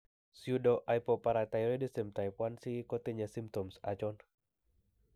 Pseudohypoparathyroidism type 1c kotinye symptoms achon?